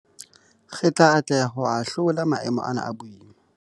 Re tla atleha ho ahlola maemo ana a boima.